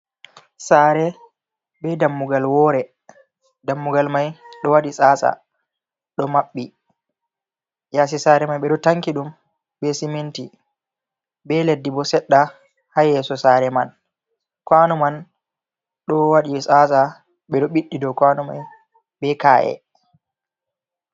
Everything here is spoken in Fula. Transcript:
Sare be dammugal wore dammugal mai ɗo waɗi tsaatsa ɗo maɓɓi, yasi sare mai ɓe do tanki dum be siminti be leddi bo sedda ha yeso sare man kwanuman ɗo waɗi tsatsa ɓeɗo ɓiɗdi dow kwanu mai be ka’e.